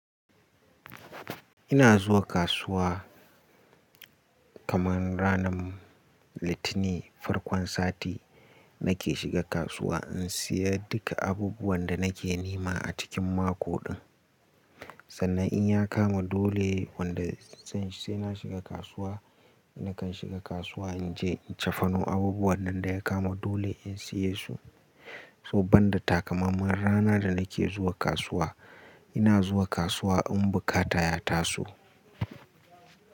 Ina zuwa kasuwa kaman ranar Litinin, farkon sati nake shiga kasuwa in siyan duka abubuwan da nake nema a cikin mako din. Sannan in ya kama dole wanda zan sai na shiga kasuwa, nakan shiga kasuwa in je in cafano abubuwan dan da ya kama dole in siye su. So banda takamaiman rana da nake zuwa kasuwa, ina zuwa kasuwa in bukata ya taso.